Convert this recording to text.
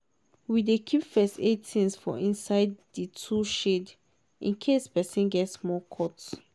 we dey keep first-aid things for inside di tool shed in case person get small cut.